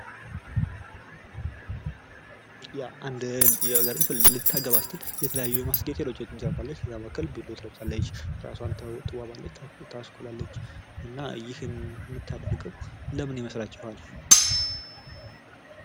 አንድ ልጃገረድ ልታገባ ስትል የተለያዩ የማስጌጫ ነገርችን ትለብሳለች ከላይ ቤሎ ትለብሳለች። እራሷን ትዋባለች ታስኩላለች እና ይህንን የምታደርገው ለምን ይመስላችኋል?